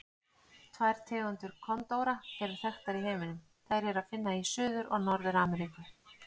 Tvær tegundir kondóra eru þekktar í heiminum, þær er að finna í Suður- og Norður-Ameríku.